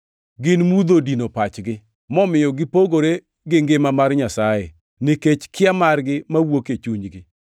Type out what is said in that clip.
Gin mudho odino pachgi, momiyo gipogore gi ngima mar Nyasaye nikech kia margi mawuok e chunygi.